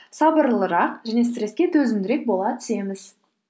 сабырлырақ және стресске төзімдірек бола түсеміз